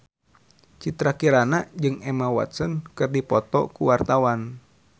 Citra Kirana jeung Emma Watson keur dipoto ku wartawan